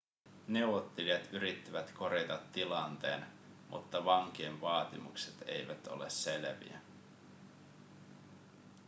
neuvottelijat yrittivät korjata tilanteen mutta vankien vaatimukset eivät ole selviä